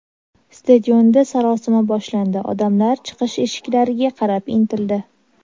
Stadionda sarosima boshlandi, odamlar chiqish eshiklariga qarab intildi.